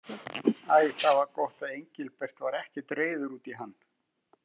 Æ, það var gott að Engilbert var ekkert reiður út í hann.